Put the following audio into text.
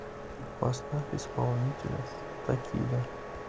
поставь исполнителя такида